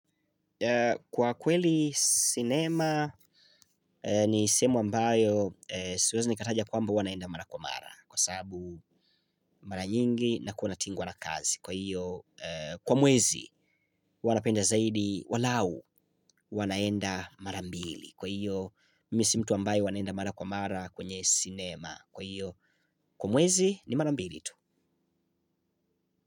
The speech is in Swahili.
Kwa kweli sinema ni sehemu ambayo siwezi nikataja kwamba huwa naenda mara kwa mara kwa sababu mara nyingi nakuwa natingwa na kazi. Kwa hiyo kwa mwezi huwa napenda zaidi walau huwa naenda mara mbili. Kwa hiyo mi si mtu ambaye huwa naenda mara kwa mara kwenye sinema. Kwa hiyo kwa mwezi ni mara mbili tu.